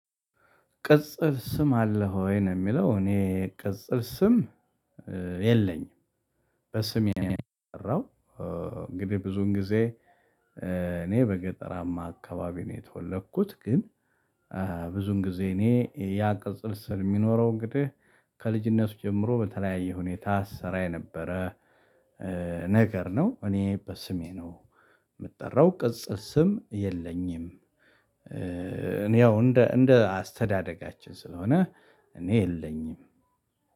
ቅጽል ስም አለህ ወይ ነው? የሚለው እኔ ቅጽል ስም የለኝም በስሜ ነው የምጠራው እንግዲህ ብዙዉን ጊዜ። እኔ በገጠራማ አካባቢ ነው የተወለድኩት። ግን። ብዙውን ጊዜ እኔ ያ ቅጽል ስም የሚኖረው እንግዲህ ከልጅነቱ ጀምሮ በተለያየ ሁኔታ ሲሰራ የነበረ ነገር ነው። እኔ በስሜ ነው የምጠራው ቅጽል ስም የለኝም። እኔ ያው እንደ እንደ አስተዳደጋችን ስለሆነ እኔ የለኝም